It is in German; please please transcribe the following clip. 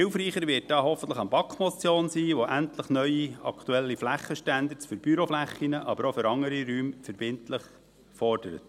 Hilfreicher wird da hoffentlich eine BaK-Motion sein, die endlich neue, aktuelle Flächenstandards für Büroflächen, aber auch für andere Räume verbindlich fordert.